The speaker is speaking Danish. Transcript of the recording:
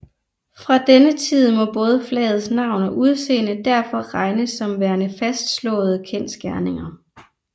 Fra denne tid må både flagets navn og udseende derfor regnes som værende fastslåede kendsgerninger